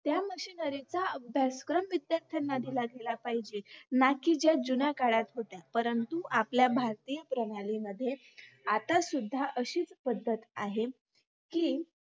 त्या machinery चा अभ्यासकरण विध्यार्थांना दिला गेला पाहिजे ना की जग जुन्याकाळात होत्या परंतु आपल्या भारतीयप्रणालीमध्ये आताच सुद्धा अशीच पद्धत आहे की